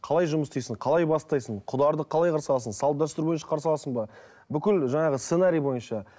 қалай жұмыс істейсің қалай бастайсың құдаларды қарсы аласың салт дәстүр бойынша қарсы аласың ба бүкіл жаңағы сценарий бойынша